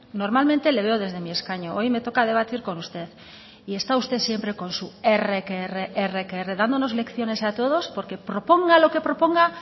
normalmente le veo desde mi escaño hoy me toca debatir con usted y está usted siempre con su erre que erre erre que erre dándonos lecciones a todos porque proponga lo que proponga